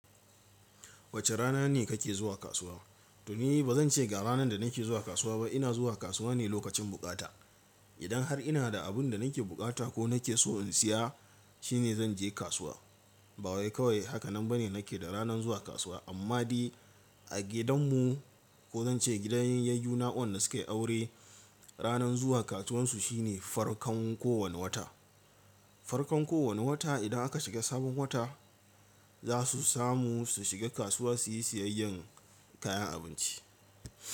Wace rana ne kake zuwa kasuwa? To ni ba zan ce ga ranar da nake zuwa kasuwa ba. Ina zuwa kasuwa ne lokacin bukata. Idan har ina da abin da nake bukata ko nake so in siya, shine zan je kasuwa. Ba wai kawai haka nan ba ne nake da ranar zuwa kasuwa. Amma dai a gidanmu ko zan ce gidan yayyu na waɗanda sukayi aure, ranar zuwa kasuwansu shine farkon kowane wata. Farkon kowane wata idan aka shiga sabon wata, za su samu su shiga kasuwa suyi siyayyan kayan abinci.